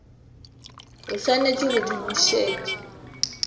o swanetše go di bušet